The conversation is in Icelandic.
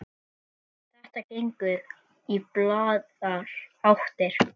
Þetta gengur í báðar áttir.